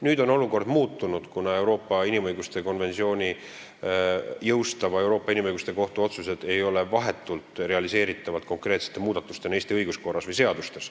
Nüüd on olukord muutunud, kuna Euroopa inimõiguste konventsiooni jõustava Euroopa Inimõiguste Kohtu otsused ei ole vahetult realiseeritavad konkreetsete muudatustena Eesti õiguskorras või seadustes.